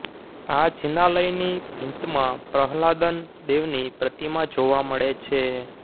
આ જિનાલયની ભીંતમાં પ્રહલાદન દેવની પ્રતિમા જોવા મળે છે